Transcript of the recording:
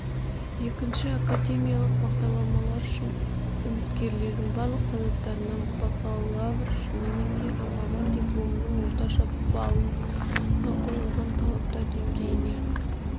екінші академиялық бағдарламалар үшін үміткерлердің барлық санаттарына бакалавр немесе маман дипломының орташа балына қойылатын талаптар деңгейіне